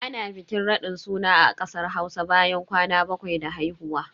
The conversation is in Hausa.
Ana bikin raɗin suna a kasar Hausa bayan kwana bakwai da haihuwa.